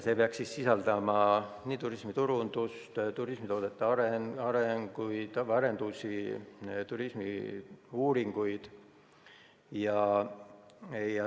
See peaks sisaldama nii turismiturundust, turismitoodete arengut, mitmesuguseid arendustegevusi, turismiuuringuid.